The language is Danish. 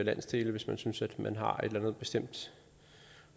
landsdele hvis man synes at man har et andet bestemt